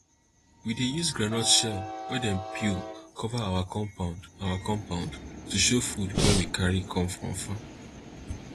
we dey use groundnut shell wey dem peel cover our compound our compound to show food wey we carry come from farm